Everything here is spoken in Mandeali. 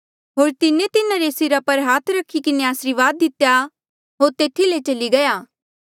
होर से तिन्हारे सिरा पर हाथ रखी किन्हें आसरीवाद दितेया होर तेथी ले चली गया